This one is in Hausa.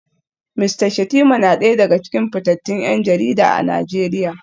Mista Shettima na daya daga cikin fitattun 'yan jarida a Najeriya